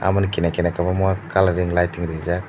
lamani kinar kinar kobangama colouring lighting rijak.